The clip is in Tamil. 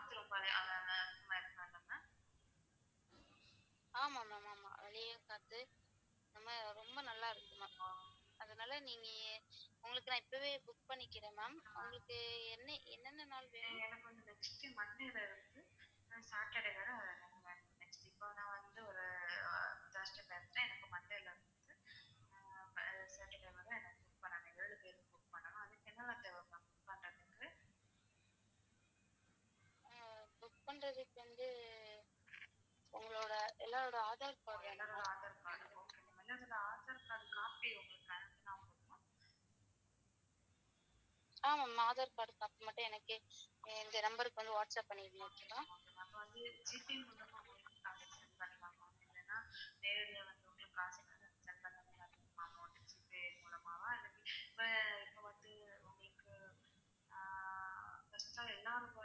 எல்லாருமே.